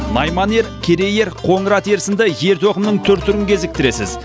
найман ер керей ер қоңырат ер сынды ер тоқымның түр түрін кезіктіресіз